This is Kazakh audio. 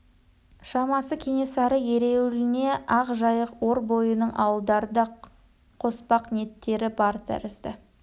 шамасы кенесары ереуіліне ақ жайық ор бойының ауылдарын да қоспақ ниеттері бар тәрізді